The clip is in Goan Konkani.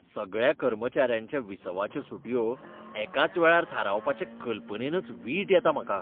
सगळ्या कर्मचाऱ्यांच्या विसवाच्यो सुटयो एकाच वेळार थारावपाचे कल्पनेनच वीट येता म्हाका.